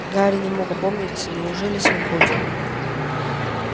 гарри не мог опомниться неужели свободен